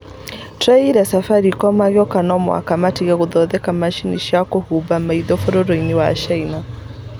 tweeterire Safaricom makiuga no mũhaka matige gũthondeka macini cia kũhumba maitho bũrũriinĩ wa China.